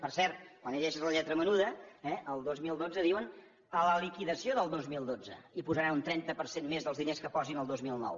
per cert quan llegeixes la lletra menuda eh el dos mil dotze diuen a la liquidació del dos mil dotze hi posaran un trenta per cent més dels diners que hi posin el dos mil nou